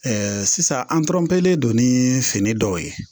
sisan an don ni fini dɔw ye